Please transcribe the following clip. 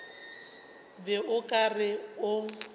be o ka re o